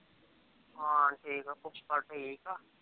ਹਾ ਠੀਕ ਹੈ ਫੁਫੜ ਠੀਕ ਆ